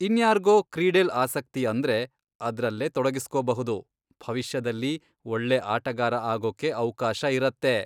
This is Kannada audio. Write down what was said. ಇನ್ಯಾರ್ಗೋ ಕ್ರೀಡೆಲ್ ಆಸಕ್ತಿ ಅಂದ್ರೆ ಅದ್ರಲ್ಲೇ ತೊಡಗಿಸ್ಕೊಬಹುದು, ಭವಿಷ್ಯದಲ್ಲಿ ಒಳ್ಳೆ ಆಟಗಾರ ಆಗೋಕೆ ಅವ್ಕಾಶ ಇರತ್ತೆ.